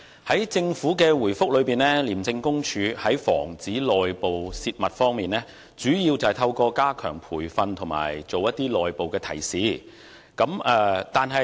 在政府的主體答覆中，廉署在防止內部泄密方面，主要是透過加強培訓和作出內部提示。